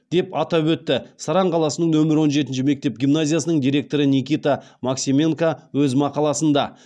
деп атап өтті саран қаласының нөмір он жетінші мектеп гимназиясының директоры никита максименко өз мақаласында